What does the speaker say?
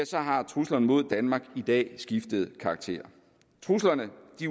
så har truslerne mod danmark i dag skiftet karakter truslerne